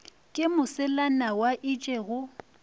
ke moselana wa itše go